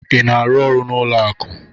Ị na-arụ ọrụ n'ụlọ akụ?